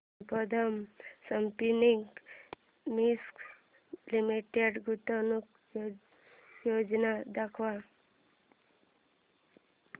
Sambandam spinning mills limited गुंतवणूक योजना दाखव